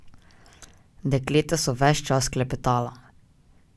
Dekleta so ves čas klepetala.